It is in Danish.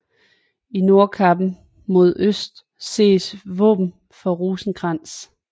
I nordkappen mod øst ses våben for Rosenkrantz